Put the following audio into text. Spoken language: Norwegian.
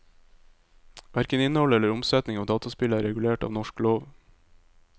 Hverken innhold eller omsetning av dataspill er regulert av norsk lov.